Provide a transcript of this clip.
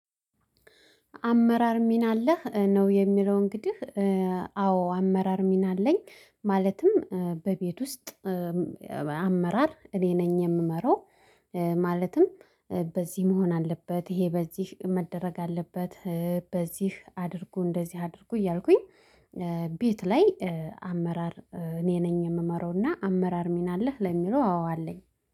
አመራር ሚና አለህ ነው የሚለው እንግዲህ? አዎ አመራር ሚና አለኝ ማለትም በቤት ውስጥ አመራር እኔ ነኝ የምመራው። ማለትም በዚህ መሆን አለበት ይሄ በዚህ መደረግ አለበት። በዚህ አድርጉ እንደዚህ አድርጉ እያልኩኝ። ቤት ላይ አመራር እኔ ነኝ የምመራውና አመራር ሚና አለህ ለሚሉ አዎ አለኝ